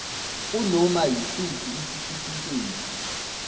kunoma yisiphi isitifiketi